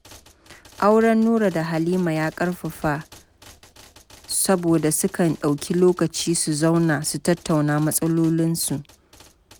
Auren Nura da Halima ya ƙarfafa saboda sukan ɗauki lokaci su zauna su tattauna matsalolinsu.